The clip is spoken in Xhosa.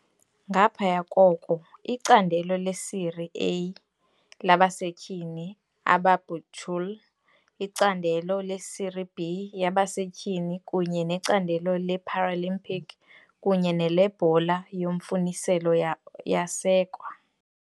Ngaphaya koko, iCandelo leSerie A labaseTyhini abaBuchule, iCandelo leSerie B yabaseTyhini kunye neCandelo le-Paralympic kunye neleBhola yoMfuniselo yasekwa.